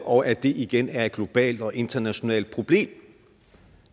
og at det igen er et globalt og internationalt problem det